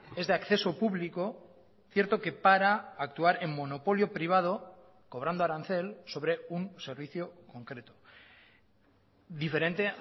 es de acceso público cierto que para actuar en monopolio privado cobrando arancel sobre un servicio concreto diferente